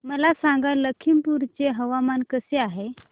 मला सांगा लखीमपुर चे हवामान कसे आहे